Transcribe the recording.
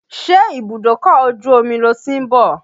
Ṣe ibùdókọ̀ ojú omi lo ti ń bọ̀?